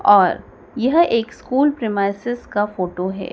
और यह एक स्कूल प्रीमाइसेस का फोटो है।